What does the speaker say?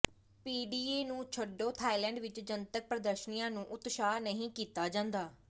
PDA ਨੂੰ ਛੱਡੋ Thailand ਵਿੱਚ ਜਨਤਕ ਪ੍ਰਦਰਸ਼ਨੀਆਂ ਨੂੰ ਉਤਸ਼ਾਹਤ ਨਹੀਂ ਕੀਤਾ ਜਾਂਦਾ